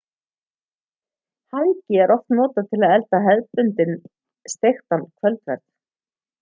hangi er oft notað til að elda hefðbundinn steiktan kvöldverð